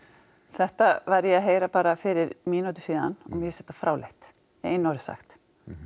þetta var ég að heyra bara fyrir mínútu síðan mér finnst þetta fráleitt í einu orði sagt